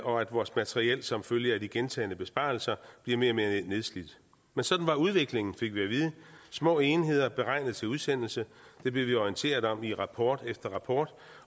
og at vores materiel som følge af de gentagne besparelser bliver mere og mere nedslidt sådan var udviklingen fik vi at vide små enheder beregnet til udsendelse det blev vi orienteret om i rapport efter rapport